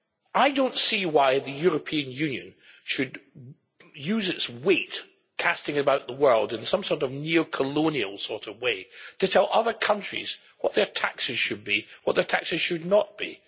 I do not see why the European Union should use its weight, casting about the world in some sort of neo colonial way to tell other countries what their taxes should be and what their taxes should not be.